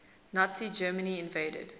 nazi germany invaded